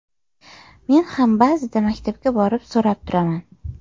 Men ham ba’zida maktabga borib so‘rab turaman.